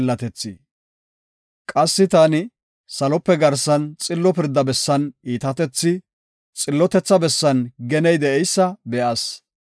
Qassi taani, salope garsan xillo pirda bessan iitatethi, xillotetha bessan geney de7eysa be7as.